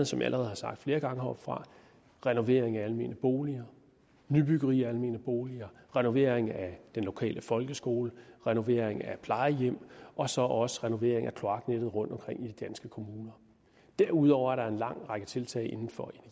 som jeg allerede har sagt flere gange heroppefra renovering af almene boliger nybyggeri af almene boliger renovering af den lokale folkeskole renovering af plejehjem og så også renovering af kloaknettet rundtomkring i de danske kommuner derudover er der en lang række tiltag inden for